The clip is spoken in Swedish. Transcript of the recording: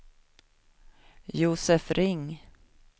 Josef Ring